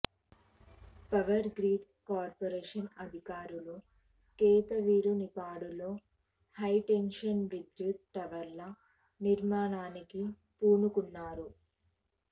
power grid corporation అధికారులు కేతవీరునిపాడులో high tension విద్యుత్ టవర్ల నిర్మాణానికి పూనుకున్నారు